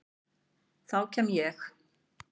Þá kem ég